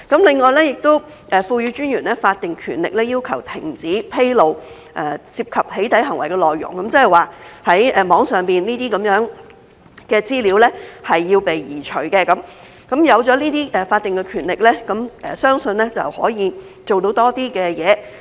另外，也賦予私隱專員法定權力要求停止披露涉及"起底"行為的內容，即是在網上的資料要被移除，有了這些法定權力，相信可以做到多些事。